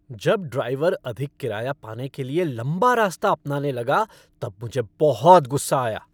जब ड्राइवर अधिक किराया पाने के लिए लंबा रास्ता अपनाने लगा तब मुझे बहुत गुस्सा आया।